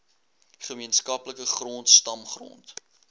gemeenskaplike grond stamgrond